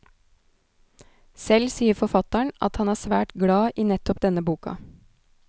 Selv sier forfatteren at han er svært glad i nettopp denne boka.